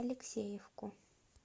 алексеевку